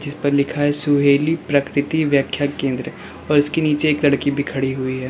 ऊपर लिखा है सुहेली प्रकृति व्याख्या केंद्र और इसके नीचे एक लड़की भी खड़ी हुई है।